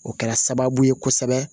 O kɛra sababu ye kosɛbɛ